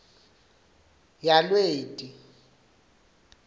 yalweti